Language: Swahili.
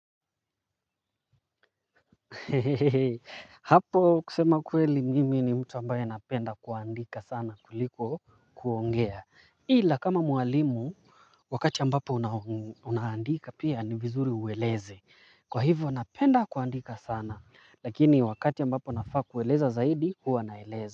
Hehehe, hapo kusema kweli mimi ni mtu ambaye napenda kuandika sana kuliko kuongea ila kama mwalimu, wakati ambapo unaandika pia ni vizuri ueleze kwa hivyo napenda kuandika sana, lakini wakati ambapo nafaa kueleza zaidi, huwa naeleza.